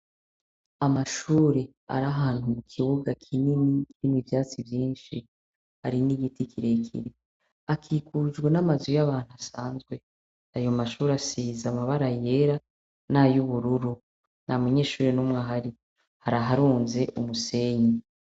Amashuri, ari ahantu mu kibuga kinini n'ivyatsi vyinshi, hari n'igiti kirekire akikujwe n'amazu y'abantu asanzwe, ayo Mashuri asize amabara yera nay'ubururu nta Munyeshuri n'umwe ahari haraharunze umusenyi.